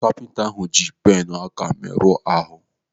Kapinta ahụ ji plenụ aka meruo ahụ.